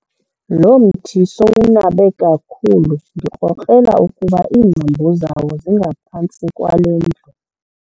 Lo mthi sowunabe kakhulu ndikrokrela ukuba iingcambu zawo zingaphantsi kwale ndlu.